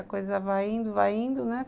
A coisa vai indo, vai indo, né?